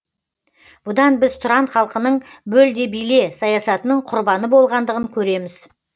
бұдан біз тұран халқының бөл де биле саясатының құрбаны болғандығын көреміз